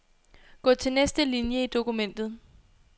Gå til næste linie i dokumentet.